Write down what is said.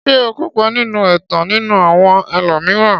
Ṣé ó kópa nínú ẹ̀tàn nínú àwọn ẹlòmíràn.